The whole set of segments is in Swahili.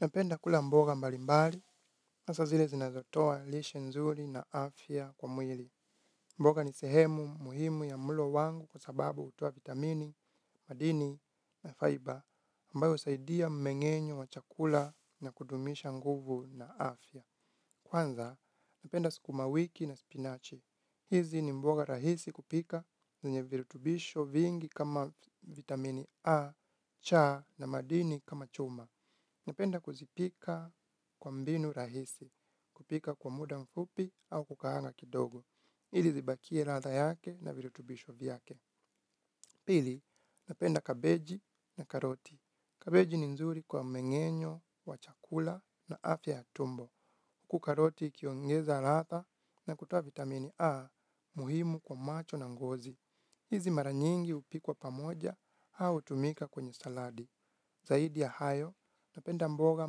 Napenda kula mboga mbali mbali, hasa zile zinazotoa lishe nzuri na afya kwa mwili. Mboga ni sehemu muhimu ya mlo wangu kwa sababu hutoa vitamini, madini na faiba, ambayo husaidia mmengenyo wa chakula na kudumisha nguvu na afya. Kwanza, napenda skuma wiki na spinachi. Hizi ni mboga rahisi kupika, zenye virutubisho vingi kama vitamini A, cha na madini kama chuma. Napenda kuzipika kwa mbinu rahisi, kupika kwa muda mfupi au kukaanga kidogo. Ili zibakie ladha yake na virutubisho vyake. Pili, napenda kabeji na karoti. Kabeji ni nzuri kwa mmengenyo wa chakula na afya ya tumbo. Huku karoti ikiongeza ladha na kutoa vitamini A muhimu kwa macho na ngozi. Hizi mara nyingi hupikwa pamoja, au hutumika kwenye saladi. Zaidi ya hayo, napenda mboga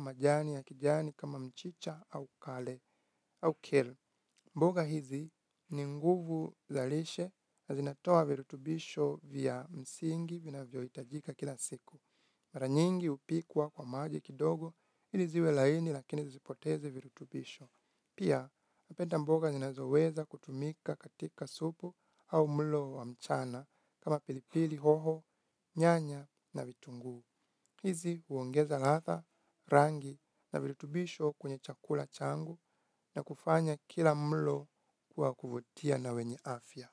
majani ya kijani kama mchicha au kale, au kale. Mboga hizi ni nguvu za lishe na zinatoa virutubisho vya msingi vinavyohitajika kila siku. Mara nyingi hupikwa kwa maji kidogo ili ziwe laini lakini zisipoteze virutubisho. Pia, napenda mboga zinazoweza kutumika katika supu au mlo wa mchana kama pilipili hoho, nyanya na vitunguu. Hizi huongeza ladha, rangi na virutubisho kwenye chakula changu na kufanya kila mlo wa kuvutia na wenye afya.